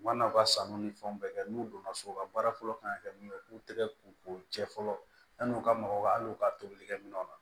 U mana u ka sanu ni fɛnw bɛɛ kɛ n'u donna so ka baara fɔlɔ kan ka kɛ min ye u k'u tɛgɛ ko k'u cɛ fɔlɔ yanni u ka mɔgɔw hali n'u ka tobilikɛ minɛnw na